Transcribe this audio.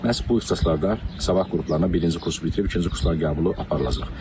Məhz bu ixtisaslarda sabah qruplarına birinci kursu bitirib ikinci kurslar qəbulu aparılacaq.